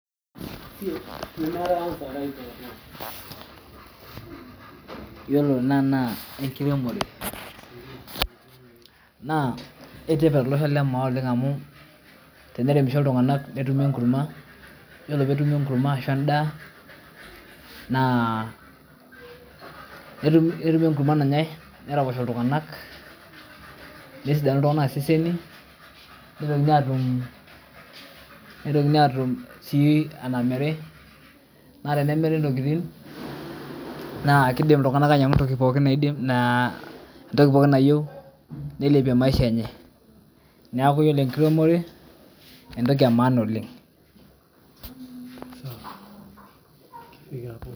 Ore ena naa enkiremore ,naaketipat tolosho le maa amu teneremisho ltunganak netumi enkurma ashu endaa naa netumi enkurma nanyai neraposho ltunganak nesidanu ltunganak iseseni, nitokini atum si enamiri, na enemiri ntokitin naa kiidim ltunganak ainyangu entoki pookin nayieu neilpie maisha enye, neaku ore enkilemore entoki emaana oleng.